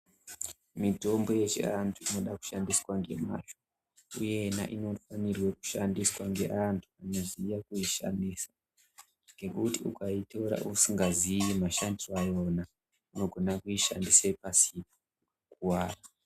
Mitombo yechiantu inoda kushandiswa nemazvo uye inoda kushandiswa ngeantu anoziya kuishandisa ngekuti ukaitora usingaziyi mashandiro ayona unogona kuishandisa pasipo ukakuwara.